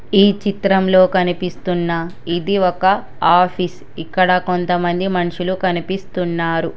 ఈ చిత్రంలో కనిపిస్తున్న ఇది ఒక ఆఫీస్ ఇక్కడ కొంతమంది మన్షులు కనిపిస్తున్నారు.